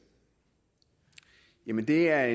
jamen det er